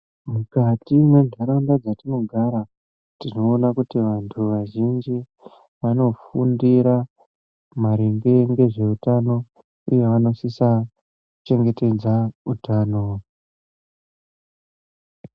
Mukati menharaunda dzatinogara tinoona kuti antu azhinji anofundira maringe nezveutano uye vanosisa kuchengetedza utano.